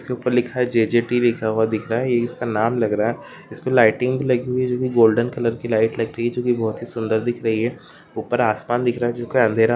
उसके ऊपर लिखा है जे.जे.टी. लिखा हुआ दिख रहा है ये इसका नाम लग रहा है इसपे लाइटिंग भी लगी हुई है जो कि गोल्डन कलर की लाइट लग रही है जो कि बहोत ही सुंदर दिख रही है ऊपर आसमान दिख रहा हैजो अंधेरा --